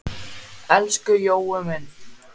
Elsku Jói minn.